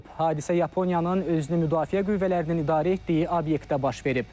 Hadisə Yaponiyanın özünü müdafiə qüvvələrinin idarə etdiyi obyektdə baş verib.